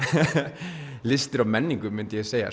listir og menningu myndi ég segja